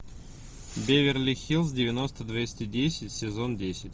беверли хиллз девяносто двести десять сезон десять